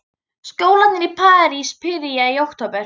Skólarnir í París byrja í október.